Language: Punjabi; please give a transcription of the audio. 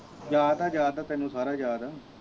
ਯਾਦ ਆ ਯਾਦ ਆ ਤੈਨੂੰ ਸਾਰਾ ਯਾਦ ਆ